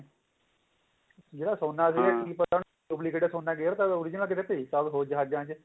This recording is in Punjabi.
ਜਿਹੜਾ ਸੋਨਾ ਸੀ ਕੀ ਉਹਨੇ duplicate ਸੋਨਾ ਗੇਰਤਾ ਹੋਵੇ original ਕਿਤੇ ਭੇਜਤਾ ਹੋਵੇ ਹੋਰ ਜਹਾਜਾਂ ਚ